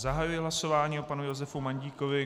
Zahajuji hlasování o panu Josefu Mandíkovi.